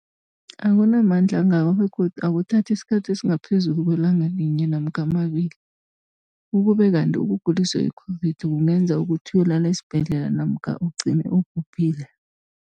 Akunamandla angako begodu akuthathi isikhathi esingaphezulu kwelanga linye namkha mabili, ukube kanti ukuguliswa yi-COVID-19 kungenza ukuthi uyokulala esibhedlela namkha ugcine ubhubhile.